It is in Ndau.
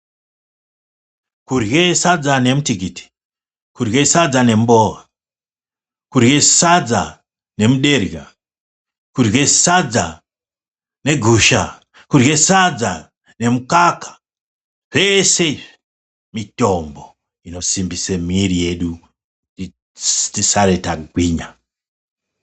Kurye sadza nemitikiti kurye sadza ne mbowa kurye sadza ne muderera kure sadza nemukaka zvese izvi mitombo inosimbisa muviri wedu kuti tisare tagwinya.